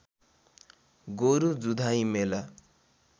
गोरु जुधाइ मेला